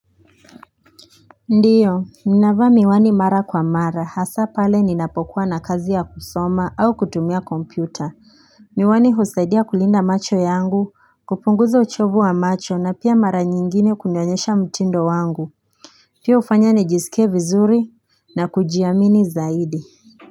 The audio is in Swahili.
Ndiyo, ninavaa miwani mara kwa mara hasa pale ninapokuwa na kazi ya kusoma au kutumia kompyuta Miwani husaidia kulinda macho yangu, kupunguza uchovu wa macho, na pia mara nyingine kunionyesha mtindo wangu, pia hufanya nijisike vizuri na kujiamini zaidi.